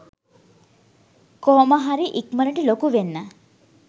කොහොමහරි ඉක්මණට ලොකු වෙන්න.